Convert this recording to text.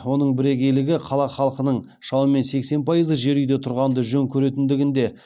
оның бірегейлігі қала халқының шамамен сексен пайызы жер үйде тұрғанды жөн көретіндігінде